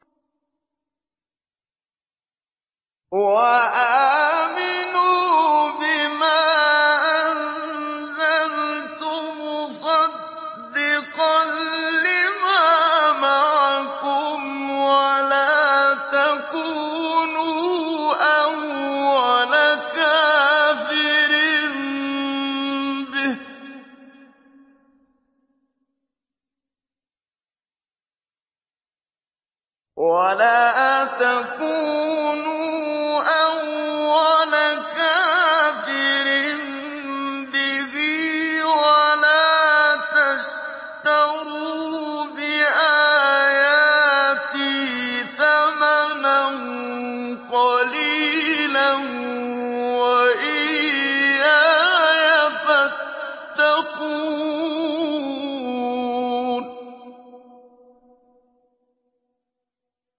وَآمِنُوا بِمَا أَنزَلْتُ مُصَدِّقًا لِّمَا مَعَكُمْ وَلَا تَكُونُوا أَوَّلَ كَافِرٍ بِهِ ۖ وَلَا تَشْتَرُوا بِآيَاتِي ثَمَنًا قَلِيلًا وَإِيَّايَ فَاتَّقُونِ